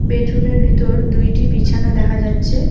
বেডরুমের ভিতর দুইটি বিছানা দেখা যাচ্ছে।